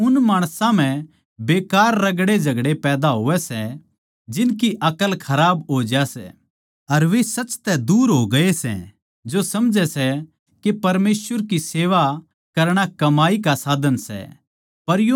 अर उन माणसां म्ह बेकार रगड़ेझगड़े पैदा होवै सै जिनकी अकल खराब हो जा सै अर वे सच तै दूर हो गये सै जो समझै सै के परमेसवर की सेवा करणा कमाई का साधन सै